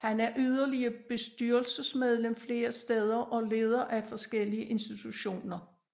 Han er yderligere bestyrelsesmedlem flere steder og leder af forskellige organisationer